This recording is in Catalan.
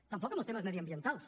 tampoc en els temes mediambientals